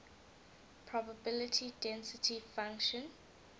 probability density function